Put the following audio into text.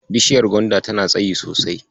Bishaiyar gwanda tana tsayi sosai.